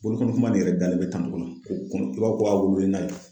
Bolokɔnikunba nin yɛrɛ dalen bɛ tan i b'a fɔ ko a wololen n'a ye.